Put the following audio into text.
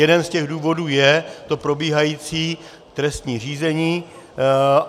Jeden z těch důvodů je to probíhající trestní řízení.